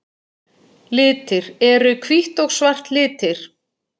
Litir Eru hvítt og svart litir?